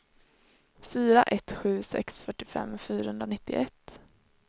fyra ett sju sex fyrtiofem fyrahundranittioett